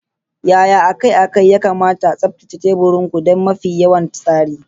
Yaya akai-akai ya kamata a tsaftace teburin ku don mafi kyawun tsari?